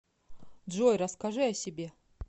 джой расскажи о себе